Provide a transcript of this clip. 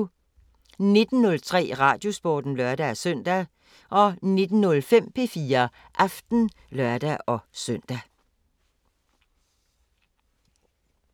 19:03: Radiosporten (lør-søn) 19:05: P4 Aften (lør-søn)